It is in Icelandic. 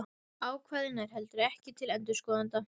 Ákvæðið nær heldur ekki til endurskoðenda.